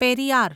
Periyar